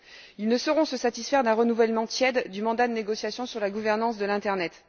Ils ne sauront se satisfaire d'un renouvellement tiède du mandat de négociation sur la gouvernance de l'internet.